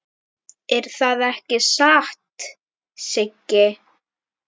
Er það ekki satt, Siggi?